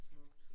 Smukt